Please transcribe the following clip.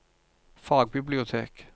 fagbibliotek